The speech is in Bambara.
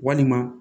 Walima